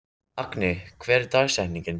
Agni, hver er dagsetningin í dag?